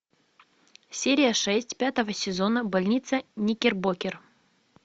серия шесть пятого сезона больница никербокер